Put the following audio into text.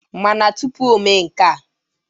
Mana tụpụ omee nka.